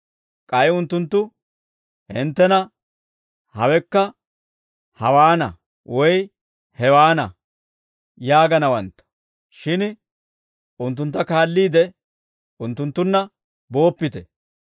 K'ay unttunttu hinttena, ‹Haweku hawaana› woy ‹Hewaana› yaaganawantta. Shin unttuntta kaalliide, unttunttunna booppite.